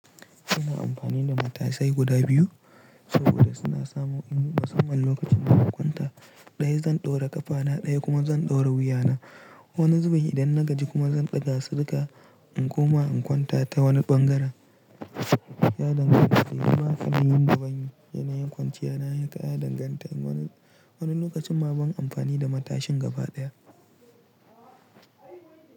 Ina amfani da matasai guda biyu saboda suna samu in yi musamman lokacin da zan kwanta. Ɗaya zan ɗora ƙafa na, ɗaya kuma zan ɗora wuya na. Wani zuben idan na gaji kuma zan ɗaga su duka in koma in kwanta ta wani ɓangaren. Ya danganta ne, kuma kafin yin zuben yanayin kwanciya na ya danganta. Wani lokacin ma ban amfani da matashin gaba ɗaya.